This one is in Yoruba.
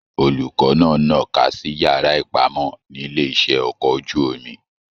Olùkọ náà nà'ka sí yàrá ipamọ nílé iṣẹ ọkọ̀ ojú omi.